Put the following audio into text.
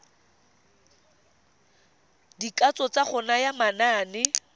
dikatso tsa go naya manane